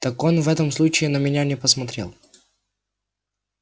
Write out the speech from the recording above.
так он и в этом случае на меня не посмотрел